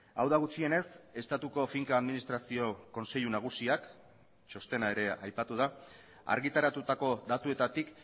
hau da gutxienez estatuko finka administrazio kontseilu nagusiak txostena ere aipatu da argitaratutako datuetatik